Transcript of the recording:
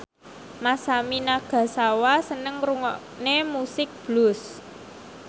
Masami Nagasawa seneng ngrungokne musik blues